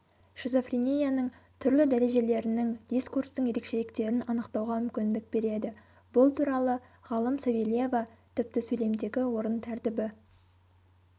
шизофренияның түрлі дәрежелерінің дискурстың ерекшеліктерін анықтауға мүмкіндік береді бұл туралы ғалым савельева тіпті сөйлемдегі орын тәртібі